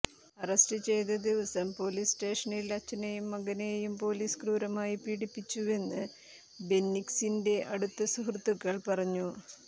arrest ചെയ്തദിവസം police സ്റ്റേഷനിൽ അച്ഛനെയും മകനെയും പോലീസ് ക്രൂരമായി പീഡിപ്പിച്ചുവെന്ന് ബെന്നിക്സിന്റെ അടുത്ത സുഹൃത്തുക്കൾ പറഞ്ഞു